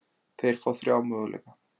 Þeir fá þrjá möguleika.